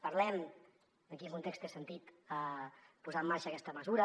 parlem de en quin context té sentit posar en marxa aquesta mesura